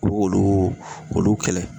U b'olu olu kɛlɛ.